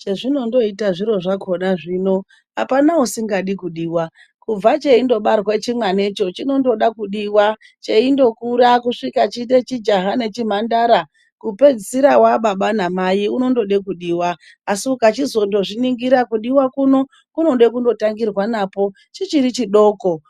Chezvinondoita zviro zvakhona. Zvino apana usingadi kudiwa. Kubva cheindobarwa chimwanacho, chinondoda kudiwa. Cheindokura kuguma chiite chijaha nechimhandara, kupedzisira aababa namai anondoda kudiwa. Asi ukachizozviningira, kudiwa kunoda kundotangirwa nacho chichiri chidoko